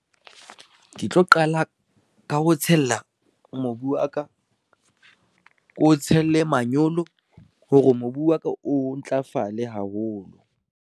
Ke tlo qala ka ho tshela mobu wa ka, ko tshele manyolo hore mobu wa ka o ntlafale haholo.